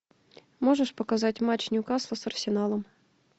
можешь показать матч ньюкасла с арсеналом